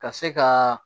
Ka se ka